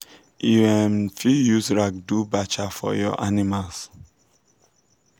you um fit use rag do bacha for your animals